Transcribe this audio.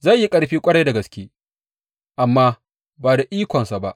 Zai yi ƙarfi ƙwarai da gaske, amma ba da ikonsa ba.